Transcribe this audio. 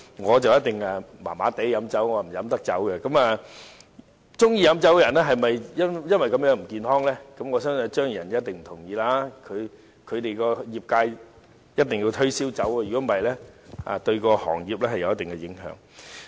我不知道喜歡飲酒的人是否因為這樣而不健康，但我相信張宇人議員一定不同意，他所屬的業界一定要推銷酒，否則會對行業有一定影響。